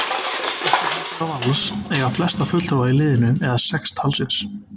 Íslandsmeistarar Vals eiga flesta fulltrúa í liðinu eða sex talsins.